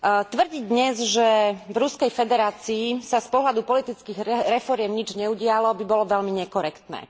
Tvrdiť dnes, že v Ruskej federácii sa z pohľadu politických reforiem nič neudialo, by bolo veľmi nekorektné.